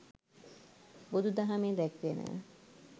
බුදුදහමේ දැක්වෙනවා.